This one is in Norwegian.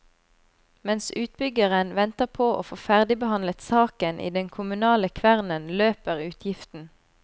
Mens utbyggeren venter på å få ferdigbehandlet saken i den kommunale kvernen løper utgiften.